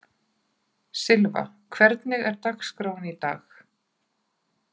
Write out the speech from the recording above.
Sylva, hvernig er dagskráin í dag?